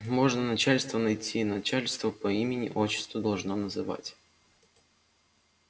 можно начальство найти начальство по имени отчеству должно называть